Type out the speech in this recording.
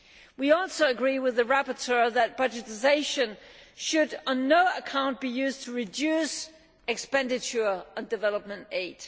We also agree with the rapporteur that budgetisation should on no account be used to reduce expenditure on development aid.